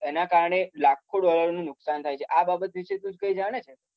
એના કારણે લાખો ડોલરનુ નુકસાન થાય છે. આ બાબત વિશે તું કઈ જાણે છે.